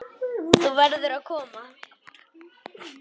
Þú verður að koma!